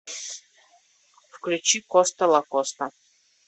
включи коста лакоста